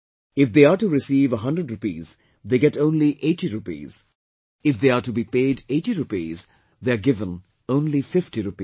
If they are to receive 100 rupees, they get only 80 rupees, if they are to be paid 80 rupees, they are given only 50 rupees